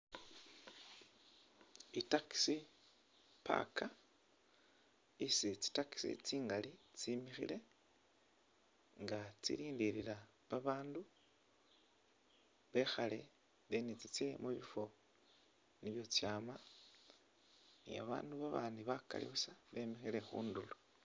I taxi park isi tsi taxi tsingaali tsimikhile nga tsilindilila babandu bekhaale then tsitse mubiifo byesi tsama ni babandu babandi bakaali buusa bemikhile khundulo.